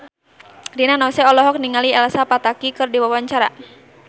Rina Nose olohok ningali Elsa Pataky keur diwawancara